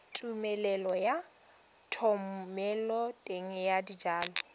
tumelelo ya thomeloteng ya dijalo